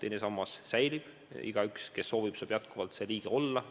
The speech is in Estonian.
Teine sammas säilib, igaüks, kes soovib, saab jätkuvalt selles osaline olla.